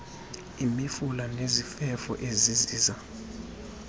imifula nezifefo eziziza